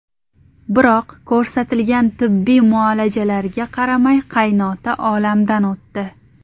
Biroq ko‘rsatilgan tibbiy muolajalarga qaramay qaynota olamdan o‘tdi.